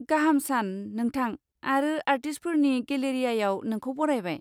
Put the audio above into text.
गाहाम सान, नोंथां, आरो आरटिस्टफोरनि गेलेरियायाव नोंखौ बरायबाय!